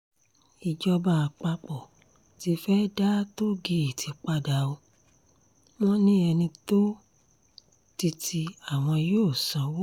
ìjọba àpapọ̀ tí fee dá tóò-gèètì padà ọ́ wọn ni ẹni bá tó títí àwọn yóò sanwó